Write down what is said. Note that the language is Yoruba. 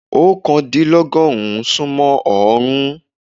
oókàndílọ́gọ́rùn-ún sún mọ́ ọọ́rùn-ún.